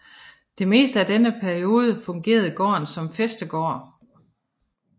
Det meste af denne periode fungerede gården som fæstegård